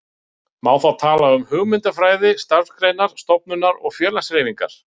Má þá tala um hugmyndafræði starfsgreinar, stofnunar og félagshreyfingar.